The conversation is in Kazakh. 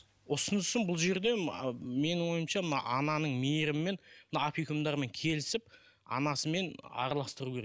ұсынысым бұл жерде менің ойымша мына ананың мейірімімен мына опекундармен келісіп анасымен араластыру керек